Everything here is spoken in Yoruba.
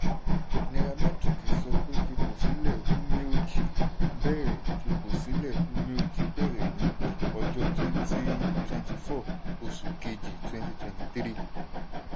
Naira metric sọ pé fipò sílẹ̀ umeoji bẹ̀rẹ̀ fipò sílẹ̀ umeoji bẹ̀rẹ̀ ní ọjọ́ twenty twenty four oṣù kejì twenty twenty three.